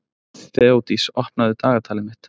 Þeódís, opnaðu dagatalið mitt.